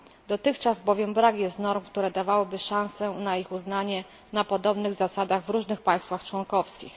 Dotychczas bowiem brak jest norm, które dawałyby szansę na ich uznanie na podobnych zasadach w różnych państwach członkowskich.